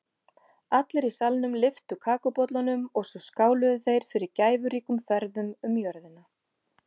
Allir í salnum lyftu kakóbollunum og svo skáluðu þeir fyrir gæfuríkum ferðum um jörðina.